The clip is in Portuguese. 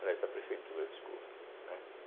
aliás, da Prefeitura, desculpa, né.